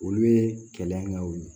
Olu ye kɛlɛyaw ye